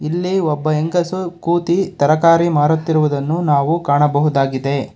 ಇಲ್ಲಿ ಒಬ್ಬ ಹೆಂಗಸು ಕೂತಿ ತರಕಾರಿ ಮಾರುತ್ತಿರುವುದನ್ನು ನಾವು ಕಾಣಬಹುದಾಗಿದೆ.